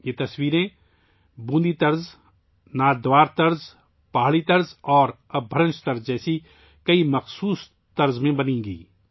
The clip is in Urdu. یہ پینٹنگز بہت سے مخصوص انداز میں بنائی جائیں گی جیسے کہ Bundi style, Nathdwara style, Pahari style اور اَپ بھرنش اسٹائل